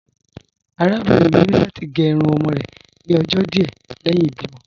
Arábìnrin mi ni lati gẹ irun ọmọ rẹ ni ọjọ́ díẹ̀ lẹhin ibìmo.